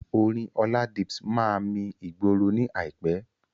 Orin Oladips máa mi ìgboro ní àìpé.